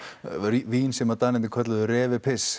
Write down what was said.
vín sem að Danirnir kölluðu